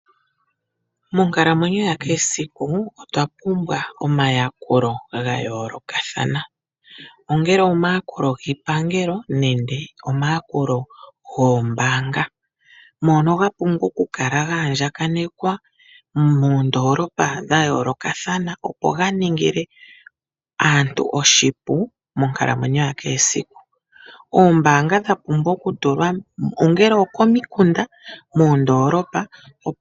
Monkalamwenyo ya kehe esiku otwa pumbwa omayakulo ga yoolokathana, ongele omayakulo giipangelo nenge omayakulo goombaanga, mono ga pumbwa okukala ga andjaganekwa moondoolopa dha yoolokathana, opo ga ningile aantu oshipu monkalamwenyo ya kehe esiku. Oombaanga odha pumbwa okutulwa ongele okomikunda nenge moondoolopa.